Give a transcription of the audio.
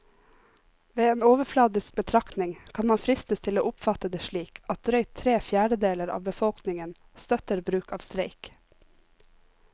Ved en overfladisk betraktning kan man fristes til å oppfatte det slik at drøyt tre fjerdedeler av befolkningen støtter bruk av streik.